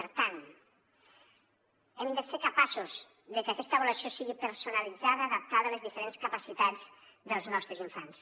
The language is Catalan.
per tant hem de ser capaços de que aquesta avaluació sigui personalitzada adaptada a les diferents capacitats dels nostres infants